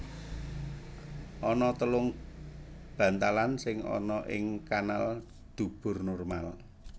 Ana telung bantalan sing ana ing kanal dubur normal